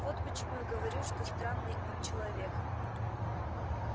вот почему я говорю что странный он человек